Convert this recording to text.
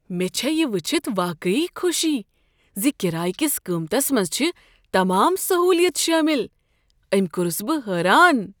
مےٚ چھےٚ یہ ؤچھتھ واقعی خوشی ز کرایہ کس قیمتس منٛز چھےٚ تمام سہولیت شٲمل۔ أمۍ کوٚرس بہٕ حیران!